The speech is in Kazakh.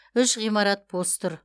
үш ғимарат бос тұр